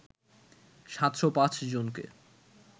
৭০৫ জনকে